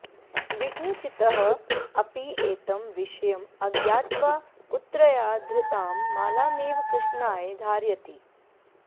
विष्णुचित्तः अपि एतं विषयम् अज्ञात्वा पुत्र्या धृतां मालामेव कृष्णाय धारयति